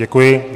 Děkuji.